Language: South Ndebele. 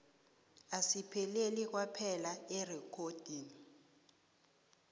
asipheleli kwaphela erekhodini